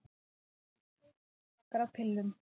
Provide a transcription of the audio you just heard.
Til eru tveir meginflokkar af pillum.